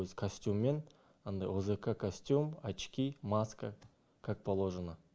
өз костюммен андай озака костюм очки маска как положено